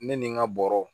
Ne ni n ka bɔrɔ